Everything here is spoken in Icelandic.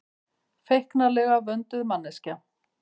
Feiknalega vönduð manneskja.